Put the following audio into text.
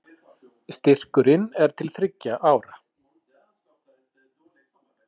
Styrkurinn er til þriggja ára